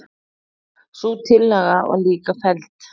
Sú tillaga var líka felld.